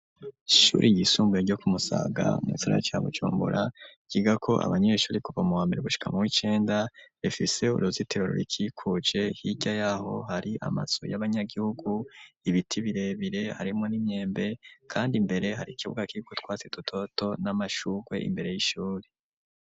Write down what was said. Ishuri y'isumbuye ryo kumusaga mugisagara ca Bujumbura, ryiga ko abanyeyishuri kuva mu wambere gushika ma w'icenda ,rifise uruzitero rurikikuje hirya yaho, hari amazu y'abanyagihugu ,ibiti birebire harimwo n'imyembe kandi imbere hari ikibuga kiriko utwatsi dutoduto n'amashurwe imbere y'ishuri.